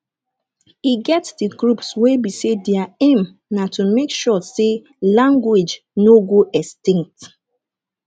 e get di groups wey be say their aim na to make sure sey language no go extinct